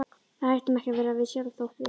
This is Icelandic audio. Við hættum ekki að vera við sjálf þótt við.